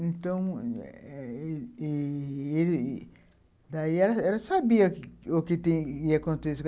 Então, ele... Daí ela sabia o que o que ia acontecer.